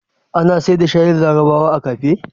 Ana sayar da shayin larabawa a kafe?